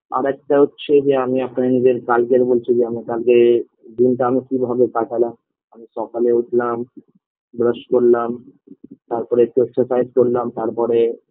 আরেকটা হচ্ছে যে আমি আপনার নিজের কারগেল বলছিল আমার কালকে দিনটা আমি কীভাবে কাটালাম আমি সকালে উঠলাম brush করলাম তারপরে একটু exercise করলাম তারপরে